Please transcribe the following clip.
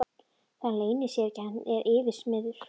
Það leynir sér ekki að hann er yfirsmiður.